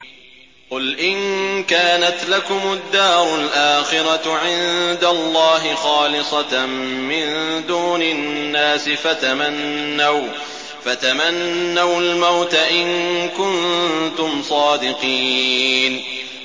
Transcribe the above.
قُلْ إِن كَانَتْ لَكُمُ الدَّارُ الْآخِرَةُ عِندَ اللَّهِ خَالِصَةً مِّن دُونِ النَّاسِ فَتَمَنَّوُا الْمَوْتَ إِن كُنتُمْ صَادِقِينَ